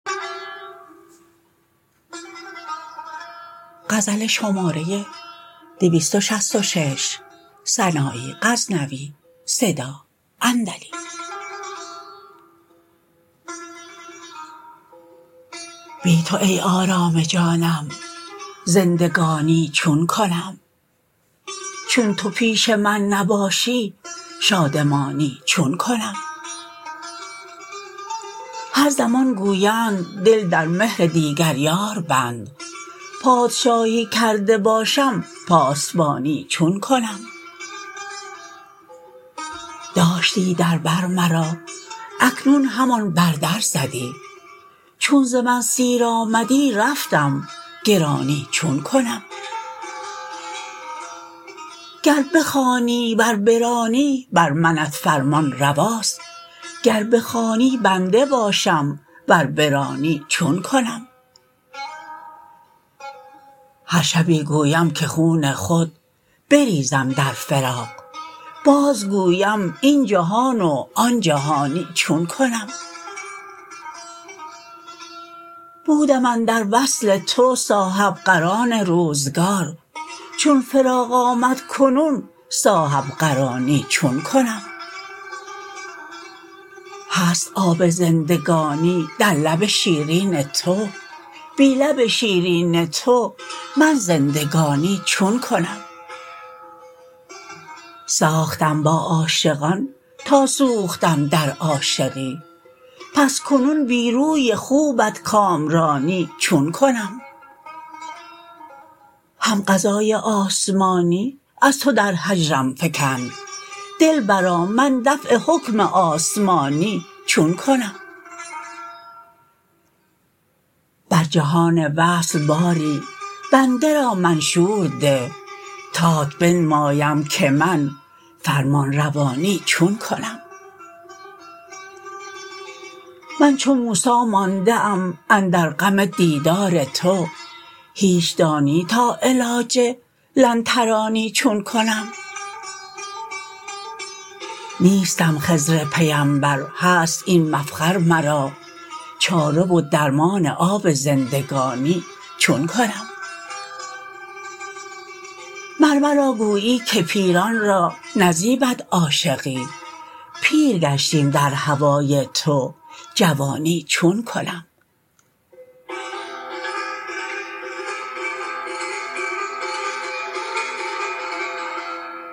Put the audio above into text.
بی تو ای آرام جانم زندگانی چون کنم چون تو پیش من نباشی شادمانی چون کنم هر زمان گویند دل در مهر دیگر یار بند پادشاهی کرده باشم پاسبانی چون کنم داشتی در بر مرا اکنون همان بر در زدی چون ز من سیر آمدی رفتم گرانی چون کنم گر بخوانی ور برانی بر منت فرمان رواست گر بخوانی بنده باشم ور برانی چون کنم هر شبی گویم که خون خود بریزم در فراق باز گویم این جهان و آن جهانی چون کنم بودم اندر وصل تو صاحبقران روزگار چون فراق آمد کنون صاحبقرانی چون کنم هست آب زندگانی در لب شیرین تو بی لب شیرین تو من زندگانی چون کنم ساختم با عاشقان تا سوختم در عاشقی پس کنون بی روی خوبت کامرانی چون کنم هم قضای آسمانی از تو در هجرم فکند دلبرا من دفع حکم آسمانی چون کنم بر جهان وصل باری بنده را منشور ده تات بنمایم که من فرمان روانی چون کنم من چو موسی مانده ام اندر غم دیدار تو هیچ دانی تا علاج لن ترانی چون کنم نیستم خضر پیمبر هست این مفخر مرا چاره و درمان آب زندگانی چون کنم مر مرا گویی که پیران را نزیبد عاشقی پیر گشتیم در هوای تو جوانی چون کنم